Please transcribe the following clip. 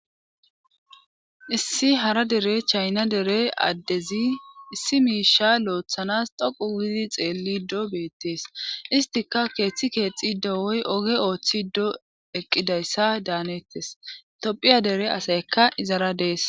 issi hara dere chayna dere addezi issi miisha looththanas doqu gidi xeellido beettees istika keeththi keexxido woy oge ooththiddo eqqidayssa daanettes tophiya dere asayekka izara dees